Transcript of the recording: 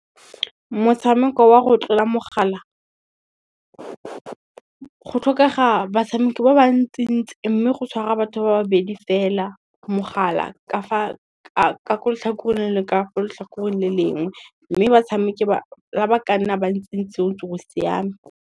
Motshameko wa go tlola mogala, go tlhokega batshameki ba ba ntsi ntsi mme, go tshwara batho ba babedi fela mogala ka ko letlhakoreng le ka fo tlhakoreng le lengwe, mme batshameki la ba ka nna ba ntse go siame.